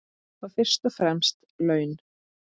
Þá fyrst og fremst laun.